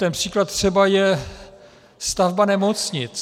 Ten příklad třeba je stavba nemocnic.